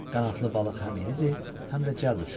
Qanadlı balıq həm iridir, həm də cəld uçur.